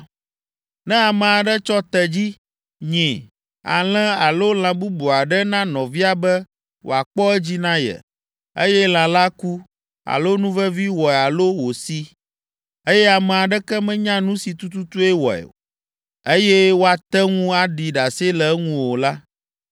“Ne ame aɖe tsɔ tedzi, nyi, alẽ alo lã bubu aɖe na nɔvia be wòakpɔ edzi na ye, eye lã la ku, alo nuvevi wɔe alo wòsi, eye ame aɖeke menya nu si tututue wɔe, eye woate ŋu aɖi ɖase le eŋu o la,